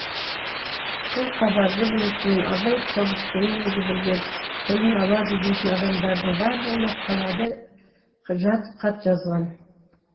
бұл хабарды білісімен абай тобықтының өзі білген тілін алады дейтін адамдардың барлығына қалада жатып хат жазған